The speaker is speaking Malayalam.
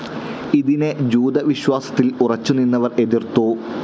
ഇതിനെ ജൂത വിശ്വാസത്തിൽ ഉറച്ചു നിന്നവർ എതിർത്തു.